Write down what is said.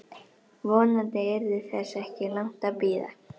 Vonandi yrði þess ekki langt að bíða.